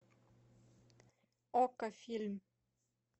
окко фильм